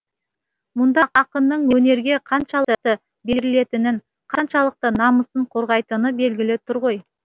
мұнда ақынның өнерге қаншалықты берілетінін қаншалықты намысын қорғайтыны белгілі тұр ғой